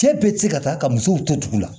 Cɛ bɛɛ tɛ se ka taa ka musow to dugu la